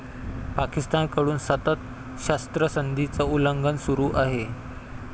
पाकिस्तानकडून सतत शस्त्रसंधीचं उल्लंघन सुरु आहे.